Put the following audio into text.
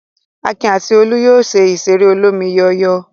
Akin àti Olú yóò lo ìṣeré olómi-yíyọ̀.